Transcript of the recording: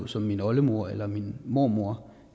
som min oldemor eller min mormor